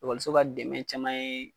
ekɔliso ka dɛmɛ caman ye